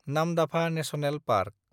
Namdapha national park